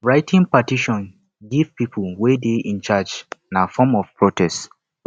writting petitions give people wey de in charge na form of protest